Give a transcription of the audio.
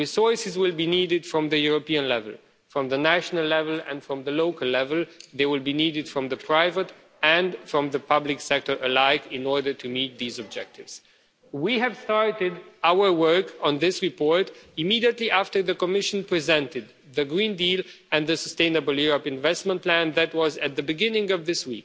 Resources will be needed from the European level, from the national level and from the local level, and they will be needed from the private and from the public sector alike in order to meet these objectives. We started our work on this report immediately after the Commission presented the Green Deal and the Sustainable Europe Investment Plan that was at the beginning of this